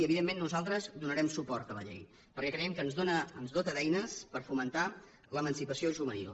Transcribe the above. i evidentment nosaltres donarem suport a la llei perquè creiem que ens dota d’eines per fomentar l’emancipació juvenil